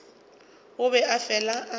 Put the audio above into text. o be a fele a